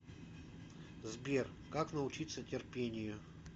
сбер как научиться терпению